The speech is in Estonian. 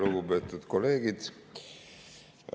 Lugupeetud kolleegid!